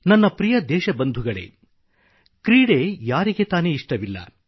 ನನ್ನ ಪ್ರಿಯ ದೇಶಬಂಧುಗಳೇ ಕ್ರೀಡೆ ಯಾರಿಗೆ ತಾನೇ ಇಷ್ಟವಿಲ್ಲ